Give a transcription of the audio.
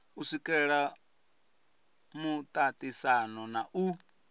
u swikelela muaisano na u